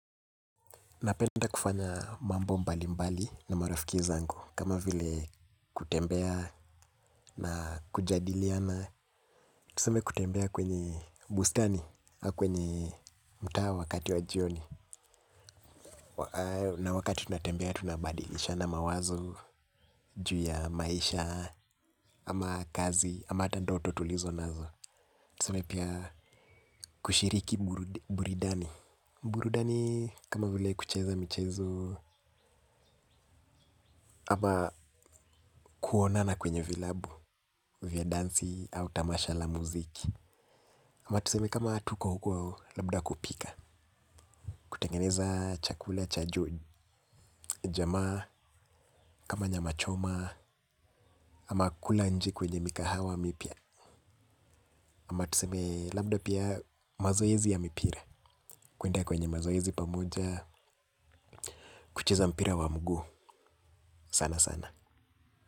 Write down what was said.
Napenda kufanya mambo mbali mbali na marafiki zangu. Kama vile kutembea na kujadiliana. Tuseme kutembea kwenye bustani au kwenye mtaa wakati wa jioni. Na wakati tunatembea tunabadilishana mawazo. Juu ya maisha ama kazi ama hata ndoto tulizonazo. Tuseme pia kushiriki burudani. Burudani kama vile kucheza michezo ama kuonana kwenye vilabu vya dansi au tamasha la muziki. Ama tuseme kama tuko huko. Labda kupika kutengeneza chakula, cha juu, jamaa. Kama nyama choma. Ama kula nchi kwenye mikahawa mipya. Ama tuseme labda pia mazoezi ya mipira. Kuenda kwenye mazoezi pamoja. Kucheza mpira wa mguu sana sana.